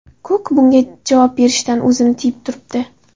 Kuk bunga javob berishdan o‘zini tiyib turibdi.